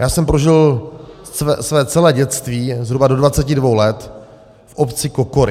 Já jsem prožil celé své dětství zhruba do 22 let v obci Kokory.